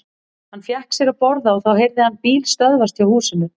Hann fékk sér að borða og þá heyrði hann bíl stöðvast hjá húsinu.